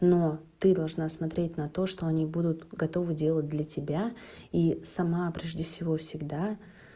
но ты должна смотреть на то что они будут готовы делать для тебя и сама прежде всего всегда